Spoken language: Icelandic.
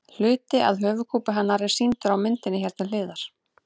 Hluti af höfuðkúpu hennar er sýndur á myndinni hér til hliðar.